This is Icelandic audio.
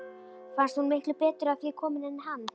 Fannst hún miklu betur að því komin en hann.